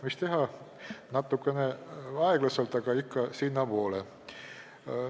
Mis teha, natukene aeglaselt, aga ikka sinnapoole, kuhu vaja.